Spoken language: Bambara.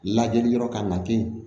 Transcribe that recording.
Lajɛli yɔrɔ kan ka kɛ yen